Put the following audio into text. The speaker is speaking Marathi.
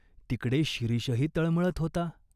तिकडे शिरीषही तळमळत होता.